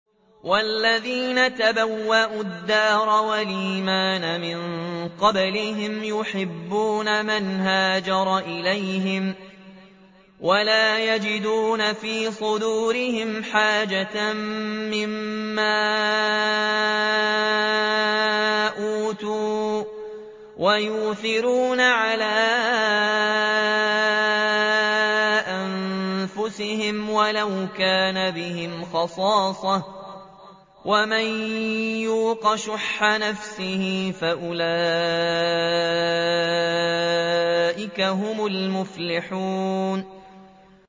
وَالَّذِينَ تَبَوَّءُوا الدَّارَ وَالْإِيمَانَ مِن قَبْلِهِمْ يُحِبُّونَ مَنْ هَاجَرَ إِلَيْهِمْ وَلَا يَجِدُونَ فِي صُدُورِهِمْ حَاجَةً مِّمَّا أُوتُوا وَيُؤْثِرُونَ عَلَىٰ أَنفُسِهِمْ وَلَوْ كَانَ بِهِمْ خَصَاصَةٌ ۚ وَمَن يُوقَ شُحَّ نَفْسِهِ فَأُولَٰئِكَ هُمُ الْمُفْلِحُونَ